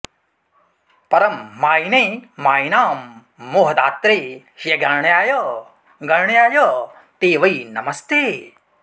परं मायिने मायिनां मोहदात्रे ह्यगण्याय गण्याय ते वै नमस्ते